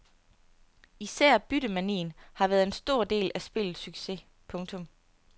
Især byttemanien har været en stor del af spillets succes. punktum